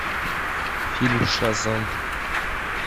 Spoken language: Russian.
фильм шазам